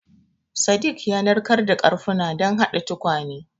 Sadik ya narkar da ƙarafunan don haɗa tukwane.